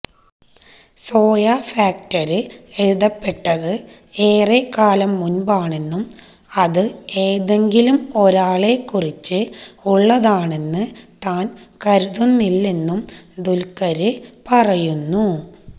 soya Factor എഴുതപ്പെട്ടത് ഏറെക്കാലം മുന്പാണെന്നും അത് എതെങ്കിലും ഒരാളെക്കുറിച്ച് ഉളളതാണെന്ന് താന് കരുതുന്നില്ലെന്നും ദുല്ഖര് പറയുന്നു